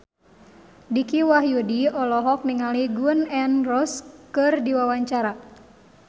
Dicky Wahyudi olohok ningali Gun N Roses keur diwawancara